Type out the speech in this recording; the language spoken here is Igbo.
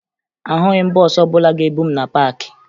Ahụghị m bọọsụ ọbụla ga-ebu m na paakị